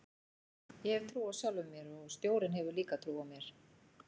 Ég hef trú á sjálfum mér og stjórinn hefur líka trú á mér